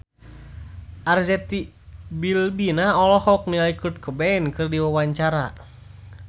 Arzetti Bilbina olohok ningali Kurt Cobain keur diwawancara